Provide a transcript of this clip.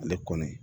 Ale kɔni